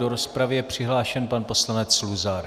Do rozpravy je přihlášen pan poslanec Luzar.